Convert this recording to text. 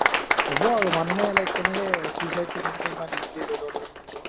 হ'ব আৰু মানুহে like কেনেকৈ suicide টো কেনেকে ইমান easily লৈ ল'ব পাৰে মই বুজিয়ে না